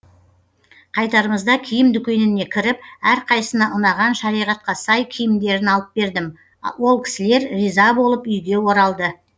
қайтарымызда киім дүкеніне кіріп әрқайсына ұнаған шариғатқа сай киімдерін алып бердім ол кісілер риза болып үйге оралды